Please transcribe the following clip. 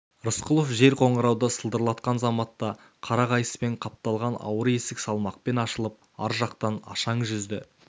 рысқұлов жез қоңырауды сылдырлатқан заматта қара қайыспен қапталған ауыр есік салмақпен ашылып ар жақтан ашаң жүзді